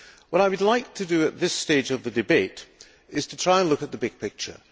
What I would like to do at this stage of the debate is to try and look at the big picture.